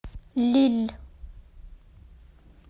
лилль